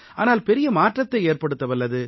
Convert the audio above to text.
ஆனால் பெரிய மாற்றத்தை ஏற்படுத்தவல்லது